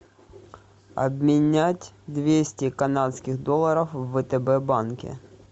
обменять двести канадских долларов в втб банке